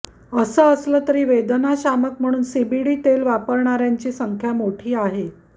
असं असलं तरी वेदनाशमक म्हणून सीबीडी तेल वापरणाऱ्यांची संख्या मोठी आहे